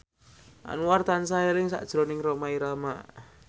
Anwar tansah eling sakjroning Rhoma Irama